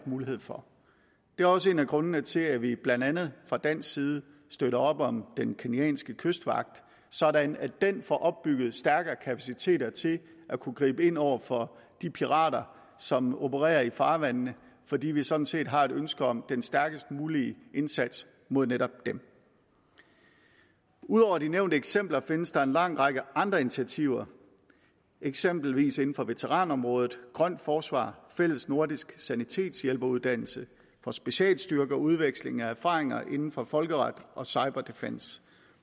mulighed for det er også en af grundene til at vi blandt andet fra dansk side støtter op om den kenyanske kystvagt sådan at den får opbygget stærkere kapaciteter til at kunne gribe ind over for de pirater som opererer i farvandene fordi vi sådan set har et ønske om den stærkest mulige indsats mod netop dem ud over de nævnte eksempler findes der en lang række andre initiativer eksempelvis inden for veteranområdet grønt forsvar fælles nordisk sanitetshjælperuddannelse for specialstyrker udveksling af erfaringer inden for folkeret og cyber defence